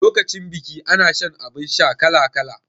Lokacin biki ana shan abun sha kala kala